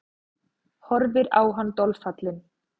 Horfir á hann dolfallin.